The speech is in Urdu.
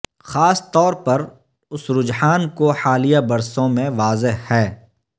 خاص طور پر اس رجحان کو حالیہ برسوں میں واضح ہے